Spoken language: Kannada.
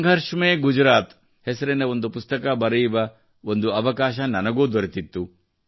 ಸಂಘರ್ಷ್ ಮೇ ಗುಜರಾತ್ ಹೆಸರಿನ ಒಂದು ಪುಸ್ತಕ ಬರೆಯುವ ಒಂದು ಅವಕಾಶ ನನಗೂ ದೊರೆತಿತ್ತು